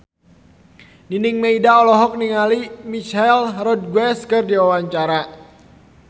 Nining Meida olohok ningali Michelle Rodriguez keur diwawancara